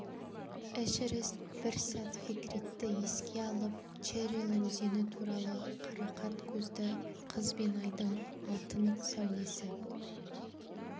эшерест бір сәт фекритті еске алып черрел өзені туралы қарақат көзді қыз бен айдың алтын сәулесі